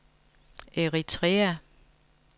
Eritrea